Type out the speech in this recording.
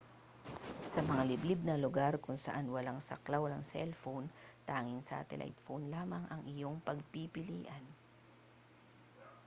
sa mga liblib na lugar kung saan walang saklaw ng cell phone tanging satellite phone lamang ang iyong pagpipilian